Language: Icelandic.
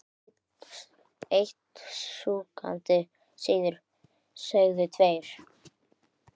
einni sekúndu síðar segðu tveir